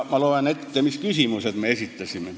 Ma loen ette, mis küsimused me esitasime.